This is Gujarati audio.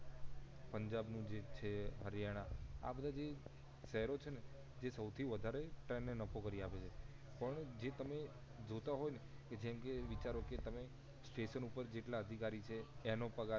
પંજાબ નું છે હરિયાણા આ બધા જે શેહરો છે ને એ સૌથી વધારે ટ્રેન ને નફો કરી આપે છે પણ જે તમે જોતાં હોય ને કે જેમ કે વિચારો કે તમે સ્ટેશન ઉપર જેટલા અધિકારી એનો પગાર